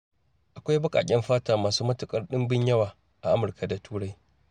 Akwai baƙaƙen fata masu matukar dimbin yawa a Amurka da Turai.